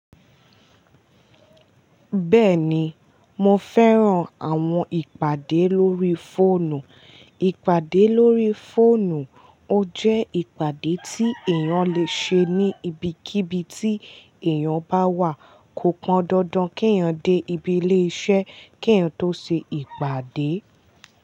Bẹ́ẹ̀ni, mo fẹ́ran àwọn ìpàdé lórí fóònù. Ìpàdé lórí fóònù, ó jẹ́ ìpàdé tí èèyàn lè ṣe ní ibikíbi tí èèyàn bá wà. Kò pọn dandan kí èèyàn dé ibi ilé iṣẹ́ kí èèyàn tó ṣe ìpàdé.